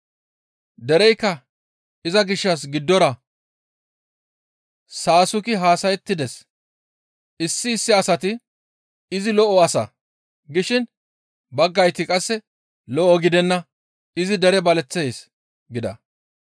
Dereykka iza gishshas garsara saasuki haasayettides. Issi issi asati, «Izi lo7o asa» gishin baggay qasse, «Lo7o gidenna; izi dere baleththees» gida.